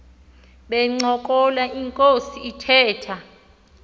bencokola inkos ithetha